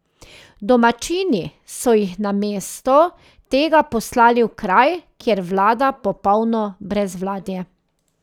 Domačini so jih namesto tega poslali v kraj, kjer vlada popolno brezvladje.